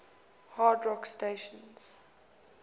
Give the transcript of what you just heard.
hard rock stations